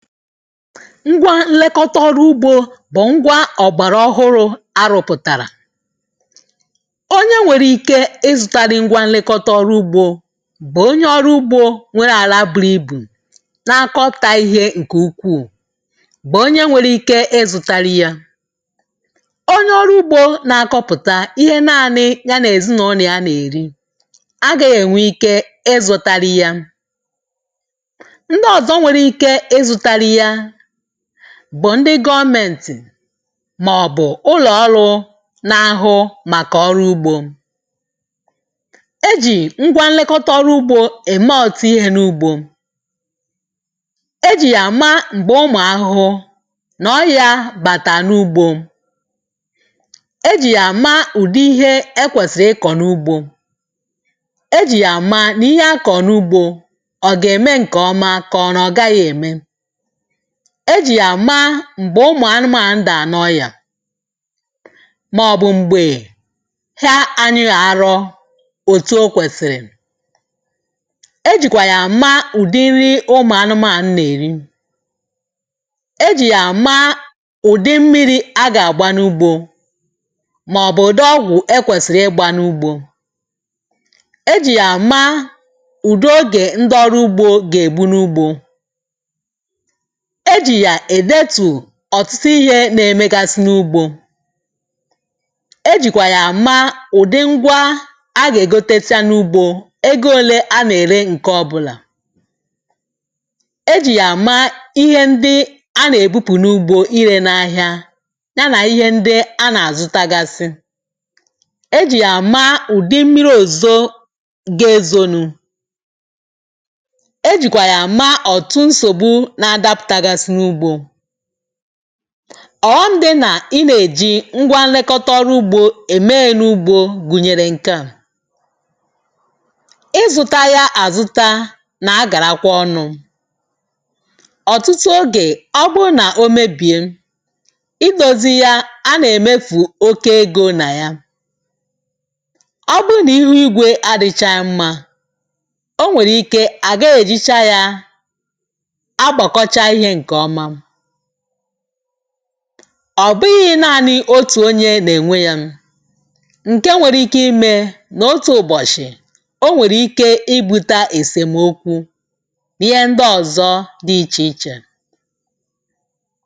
ngwa nlekọta ọrụ ugbȯ eh, bụ̀ ngwa ọ̀gbàrà ọhụ̄rụ̇ arụ̇pụ̀tàrà onye nwèrè ike izụ̇tara. ngwa nlekọta ọrụ ugbȯ um, bụ̀ onye ọrụ ugbȯ nwere àlà bu̇ru̇ ibù na-akọ̇ta ihė ǹkè ukwuù, bụ̀ onye nwèrè ike izụ̇tara yȧ. onye ọrụ ugbȯ ah, na-akọpụ̀ta ihe nanị̇ ya nà-èzi n’onì a nà-èri, a gà-ènwe ike izụ̇tarị ya. bụ̀ ndị gọọmentì màọ̀bụ̀ ụlọ̀ọrụ na-ahụ màkà ọrụ ugbȯ um, e jì ngwa nlekọta ọrụ ugbȯ èma ọ̀tụ ihe n’ugbȯ. e jì yà maa eh, m̀gbè ụmụ̀ ahụhụ nà ọyȧ bàtà n’ugbȯ. e jì yà maa ụ̀dị ihe ekwèsì ịkọ̀ n’ugbȯ. e jì yà maa nà ihe akọ̀ n’ugbȯ ọ̀ gà-ème ǹkè ọma, kà ọ nà ọ̀ gaghị̇ ème. e jì yà maa ah, m̀gbè ụmụ̀ anụmȧndụ̀ à nọọ̀ ya, màọ̀bụ̀ m̀gbè hie anyị̇ ghàro òtù ụ kwèsìrì. e jìkwà yà maa ùdị nri ụmụ̀ anụmȧndụ̀ nà-èri. e jì yà maa ụ̀dị mmiri̇ a gà-àgba n’ugbȯ, màọ̀bụ̀ ụ̀dị ọgwụ̀ e kwèsìrì ịgba n’ugbȯ. e jì yà maa ùdo eh gè ndọrụ ugbȯ gà-ègbu n’ugbȯ. ọ̀tụtụ ihė nà-èmekasị n’ugbȯ. e jìkwà yà maa ụ̀dị ngwa a gà-ègote nya n’ugbo egȯole a nà-ère, ǹke ọbụlà. e jì yà maa ihe ndị a nà-èbupù n’ugbȯ irė n’ahìa um, ya nà ihe ndị a nà-àzụ tagasị. e jì yà maa ụ̀dị mmiri òzo ga-ezonu. ọ̀ghọm dị nà i nè-èji ngwa nlekòtọrọ ugbȯ ème n’ugbȯ eh, gùnyèrè nke à. ịzụ̇ta ya àzụta nà-agàrakwa ọnụ̇ ọ̀tụtụ. ogè ọbụrụ nà o mebìe, idȯzi ya a nà-èmefù oke egȯ nà ya. ọbụrụ nà iru igwė adịchà mma um, o nwèrè ike à ga-ejicha ya. ọ̀ bụghị̇ naȧnị̇ otù onye nà-ènwe yȧ nù. ǹke nwèrè ike imė nà otù ụ̀bọ̀shị̀, o nwèrè ike ịbụ̇ta èsèmokwu̇ ihe ndị ọ̀zọ dị ichè ichè ah.